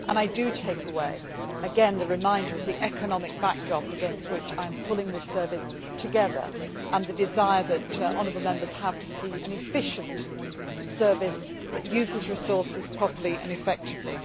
and I take away, again, the reminder of the economic backdrop against which I am pulling this service together, and the desire that honourable Members have to see an efficient service that uses resources properly and effectively.